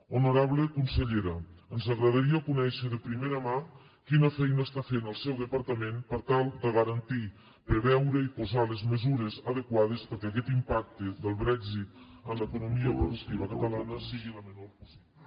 honorable consellera ens agradaria conèixer de primera mà quina feina està fent el seu departament per tal de garantir preveure i posar les mesures adequades perquè aquest impacte del brexit en l’economia productiva catalana sigui el menor possible